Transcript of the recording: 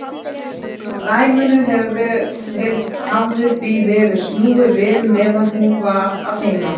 Dæminu hafði því verið snúið við meðan hún var að heiman.